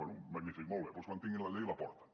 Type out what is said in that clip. bé magnífic molt bé doncs quan tinguin la llei la porten